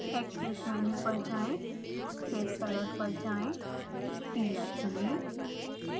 actions menu पर जाएँ फिर कलर पर जाएँ पीला चुनें